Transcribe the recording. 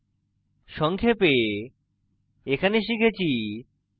সংক্ষেপে এখানে শিখেছি